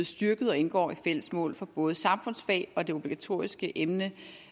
styrket og indgår i fælles mål for både samfundsfag og det obligatoriske emne